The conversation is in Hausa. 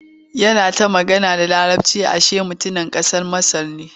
Yana ta magana da Laraci ashe mutumin ƙasar Masar ne.